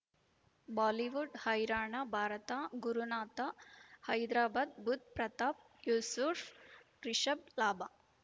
Bollywood ಹೈರಾಣ ಭಾರತ ಗುರುನಾಥ ಹೈದರಾಬಾದ್ ಬುಧ್ ಪ್ರತಾಪ್ ಯೂಸುಫ್ ರಿಷಬ್ ಲಾಭ